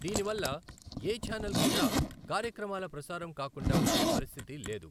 దీనివల్ల ఏ ఛానల్ కూడా కార్యక్రమాలు ప్రసారం కాకుండా ఉండే పరిస్థితి లేదు.